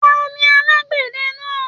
Tani alagbẹdẹ náà?